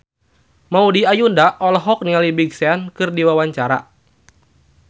Maudy Ayunda olohok ningali Big Sean keur diwawancara